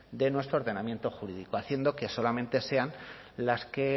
de nuestro ordenamiento jurídico haciendo que solamente sean las que